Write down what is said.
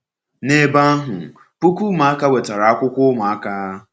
N’ebe ahụ, puku ụmụaka nwetara akwụkwọ Ụmụaka.